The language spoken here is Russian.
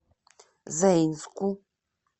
заинску